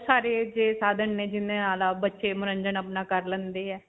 ਬਹੁਤ ਸਾਰੇ ਸਾਧਨ ਨੇ ਬੱਚੇ ਮਨੋਰੰਜਨ ਅਪਣਾ ਕਰ ਲੈਂਦੇ ਹੈ.